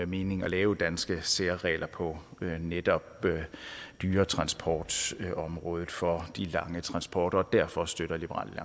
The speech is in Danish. mening at lave danske særregler på netop dyretransportområdet for de lange transporter og derfor støtter liberal